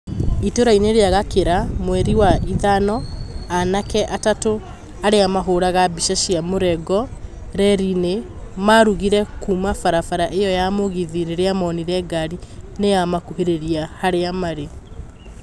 Itũra-inĩ ria Gakĩra mweri-inĩ wa ĩtano anake atatũ arĩa mahũraga mbica cia mũrengo reri-inĩ marũgire kuma barabara iyo ya mũgithi rĩrĩa monire ngari nĩyamakuhĩrĩria harĩa marĩ